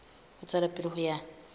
ho tswela pele ho ya